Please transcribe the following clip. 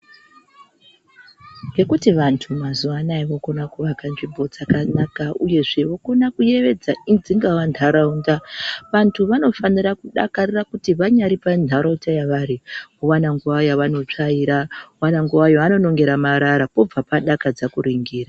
Ngekuti vandu mazuwa Anaya vokona kuvaka nzvmbo dzakanaka uyezve vokona kuyevedza dzingava ndaraunda vandu vanofanira kudakarira kuti vanyari pandaraunda yavari voona nguva yavanotsvaira vone nguvayekunonga marara pobva padakadza kuningira.